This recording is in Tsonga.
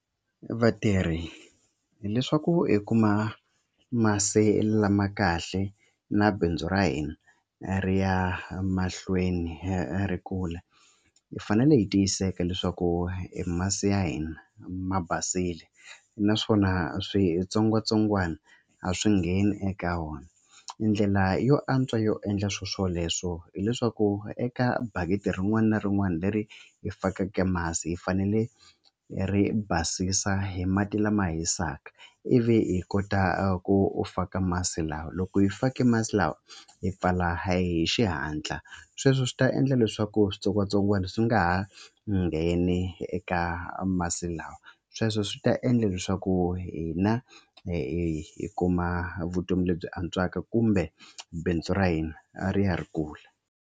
Vatirhi hileswaku hi kuma masi lama kahle na bindzu ra hina ri ya mahlweni ri kula hi fanele hi tiyiseka leswaku hi masi ya hina ma basile naswona switsongwatsongwana a swi ngheni eka wona. I ndlela yo antswa yo endla swoswoleswo hileswaku eka bakiti rin'wana na rin'wana leri hi fakeke masi hi fanele hi ri basisa hi mati lama hisaka ivi hi kota ku u faka masi lawa loko hi fake masi lawa hi pfala hi xihatla sweswo swi ta endla leswaku switsongwatsongwana swi nga ha ngheni eka masi lawa sweswo swi ta endla leswaku hina hi kuma vutomi lebyi antswaka kumbe bindzu ra hina a ri ya ri kula.